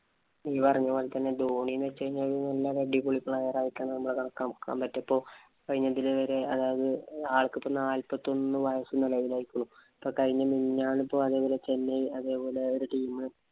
നീ പറഞ്ഞ പോലെ തന്നെ ധോണി എന്ന് വച്ച് കഴിഞ്ഞാല്‍ നല്ല ഒരു അടിപൊളി player ആയിട്ടാണ് നമ്മള് കണക്കാന്‍ പറ്റൂ. ഇപ്പൊ കഴിഞ്ഞ അതായത് ആള്‍ക്ക് ഇപ്പം കഴിഞ്ഞ january നാല്‍പത്തിയൊന്നു വയസുണ്ടെന്നു. കഴിഞ്ഞ മിനിഞ്ഞാന്ന്‍ ഇപ്പൊ ചെന്നൈ ഒരു team